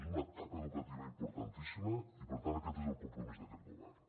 és una etapa educativa importantíssima i per tant aquest és el compromís d’aquest govern